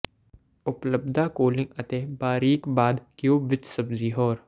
ਉਪਲੱਬਧਤਾ ਕੂਲਿੰਗ ਅਤੇ ਬਾਰੀਕ ਬਾਅਦ ਕਿਊਬ ਵਿੱਚ ਸਬਜ਼ੀ ੋਹਰ